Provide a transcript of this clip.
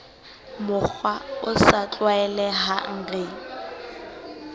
mokgwa o sa tlwaelehang re